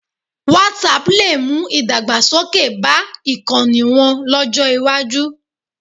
Whatapp lè mú ìdàgbasókè bá ìkànnì wọn lọ́jọ́ iwájú